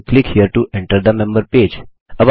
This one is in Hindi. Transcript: मेम्बर पेज में एंटर करने के लिए यहाँ क्लिक करें